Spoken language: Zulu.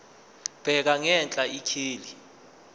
bheka ngenhla ikheli